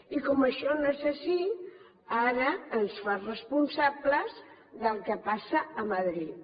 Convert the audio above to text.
i com que això no és així ara ens fa responsables del que passa a madrid